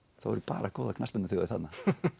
eru bara góðar knattspyrnuþjóðir þarna